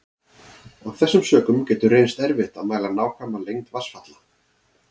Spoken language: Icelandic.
Af þessum sökum getur reynst erfitt að mæla nákvæma lengd vatnsfalla.